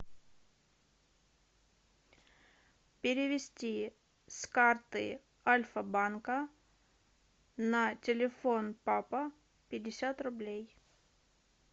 перевести с карты альфа банка на телефон папа пятьдесят рублей